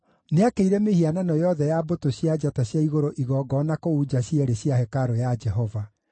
Nĩakĩire mĩhianano yothe ya mbũtũ cia njata cia igũrũ igongona kũu nja cierĩ cia hekarũ ya Jehova.